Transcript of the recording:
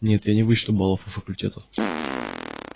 нет я не вычту баллов у факультета